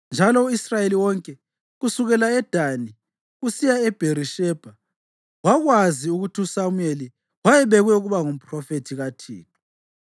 Njalo u-Israyeli wonke kusukela eDani kusiya eBherishebha wakwazi ukuthi uSamuyeli wayebekwe ukuba ngumphrofethi kaThixo.